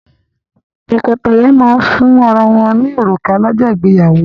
Tọ́kọtaya máa ń fún ara wọ́n ní òrùka lọ́jọ́ ìgbéyàwó.